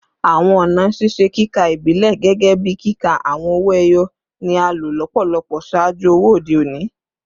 Awọn ọna ṣiṣe kika ibilẹ, gẹgẹbi kika awọn owo eyo, ni a lo lọpọlọpọ ṣaaju owo ode oni